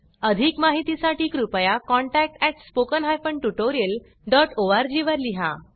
अधिक माहिती साठी कृपया contactspoken tutorialorg वर लिहा